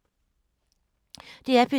DR P3